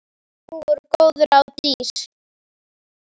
Nú voru góð ráð dýr!